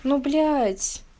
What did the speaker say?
ну блять